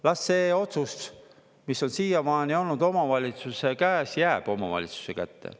Las see otsus, mis on siiamaani olnud omavalitsuse käes, jääb omavalitsuse kätte.